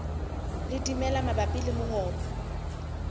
le dimela mabapi le mongobo